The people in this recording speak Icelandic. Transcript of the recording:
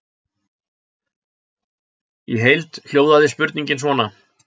Í heild hljóðaði spurningin svona: